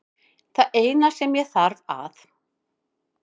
Það eina sem ég þarf að